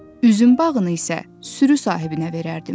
Üzüm bağını isə sürü sahibinə verərdim.